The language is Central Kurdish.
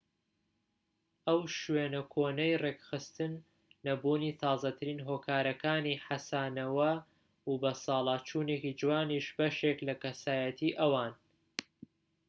ئەو شێوە کۆنەی ڕێکخستن نەبوونی تازەترین هۆکارەکانی حەسانەو و بەساڵاچوونێکی جوانیش بەشێکن لە کەسایەتی ئەوان